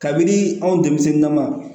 Kabini anw denmisɛnnin na ma